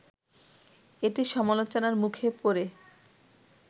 এটি সমালোচনার মুখে পড়ে